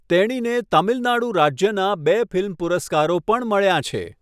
તેણીને તમિલનાડુ રાજ્યનાં બે ફિલ્મ પુરસ્કારો પણ મળ્યાં છે.